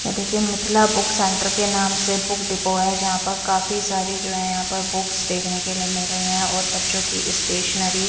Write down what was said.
ये देखिए Mithila book centre के नाम से बुक डिपो है यहाँ पर काफी सारी जो है यहाँ पर बुक्स देखने के लिए मिल रही हैं और बच्चों की स्टेशनरी --